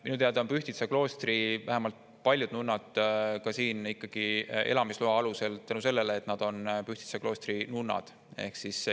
Minu teada on vähemalt Pühtitsa kloostri paljud nunnad siin ikkagi elamisloa alusel tänu sellele, et nad on Pühtitsa kloostri nunnad.